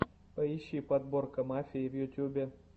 поищи подборка мафии в ютьюбе